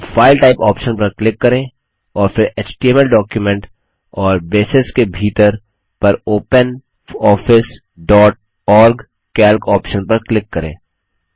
अब file type option पर click करें और फिर एचटीएमएल डॉक्यूमेंट और ब्रेसेस के भीतर पर OpenOffice dot ORG Calc option पर क्लिक करें